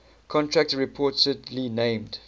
contractor reportedly named